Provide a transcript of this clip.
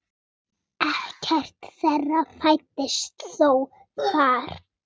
Ekkert þeirra fæddist þó þar.